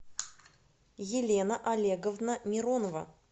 елена олеговна миронова